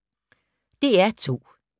DR2